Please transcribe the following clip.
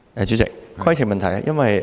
主席，規程問題。